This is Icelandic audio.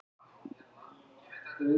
Sami tími